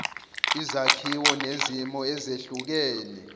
izakhiwo nezimo ezehlukene